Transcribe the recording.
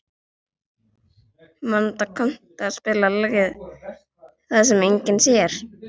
Manda, kanntu að spila lagið „Það sem enginn sér“?